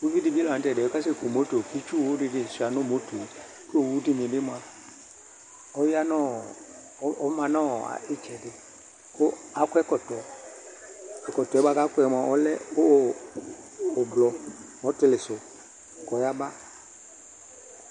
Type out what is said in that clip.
Uvi di bi la ntɛ di yɛ kasɛ ku motoKi tsuwu di bi sua nu motoɛ Kɔ wu di ni bi maƆya nɔɔ ɔma nɔɔ itsɛdi ku akɔ ɛkɔtɔƐkɔtɔɛ bua kua kɔ mua ɔlɛ ublɔ, ɔtili su kɔ ya ba